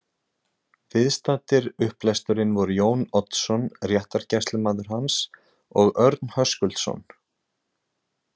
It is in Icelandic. Viðstaddir upplesturinn voru Jón Oddsson, réttargæslumaður hans, og Örn Höskuldsson.